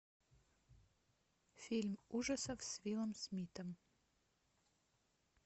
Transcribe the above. фильм ужасов с уиллом смитом